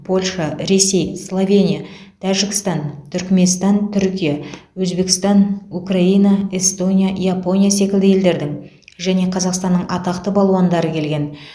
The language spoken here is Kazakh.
польша ресей словения тәжікстан түрікменстан түркия өзбекстан украина эстония япония секілді елдердің және қазақстанның атақты балуандары келген